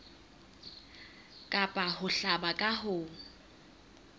kapa ho hlaba ka ho